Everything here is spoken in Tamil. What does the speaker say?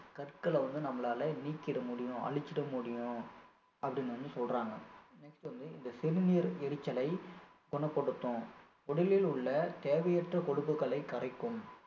கற்களை வந்து நம்மளால நீக்கிட முடியும் அழிச்சிட முடியும் அப்படின்னு வந்து சொல்றாங்க next வந்து இந்த சிறுநீர் எரிச்சலை குணப்படுத்தும் உடலில் உள்ள தேவையற்ற கொழுப்புக்களை கரைக்கும்